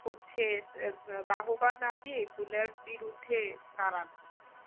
হচ্ছে বাহবা না দিয়ে এগুলোর বিরুদ্ধে দাঁড়ানো